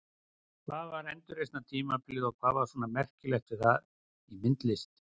Hvað var endurreisnartímabilið og hvað var svona merkilegt við það í myndlist?